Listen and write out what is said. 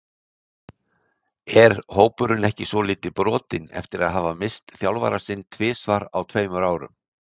Er hópurinn ekki svolítið brotinn eftir að hafa misst þjálfarann sinn tvisvar á tveimur árum?